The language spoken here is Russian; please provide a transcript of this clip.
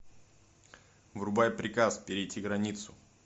врубай приказ перейти границу